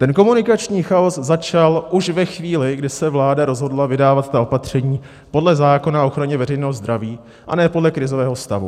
Ten komunikační chaos začal už ve chvíli, kdy se vláda rozhodla vydávat ta opatření podle zákona o ochraně veřejného zdraví a ne podle krizového stavu.